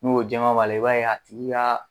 N'o jama b'a i b'a ye i tigi ka